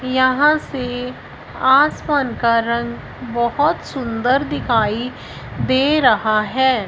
यहां से आसमान का रंग बहोत सुंदर दिखाई दे रहा है।